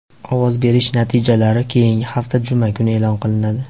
Ovoz berish natijalari keyingi hafta juma kuni e’lon qilinadi.